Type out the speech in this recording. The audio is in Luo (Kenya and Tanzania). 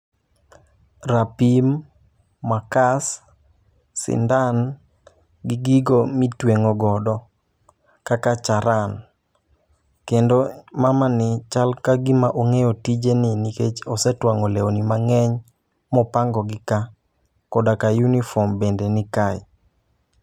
Rapim, makas, sindan, gi gigo mitweng'o gogo kaka charan. Kendo mamani chal ka gima ong'eyo tije ni nikech osetwang'o lewni mang'eny, mopango gi ka. Koda ka yunifom bende ni kae.